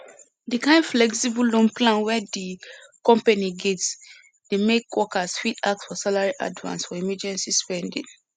di kind flexible loan plan wey di company get dey make workers fit ask for salary advance for emergency spending